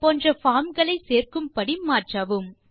போன்ற பார்ம் களையும் சேர்க்கும் படி மாற்றவும்